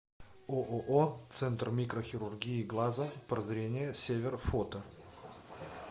ооо центр микрохирургии глаза прозрение север фото